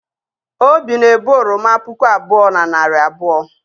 obi na-ebu oroma puku abụọ na narị abụọ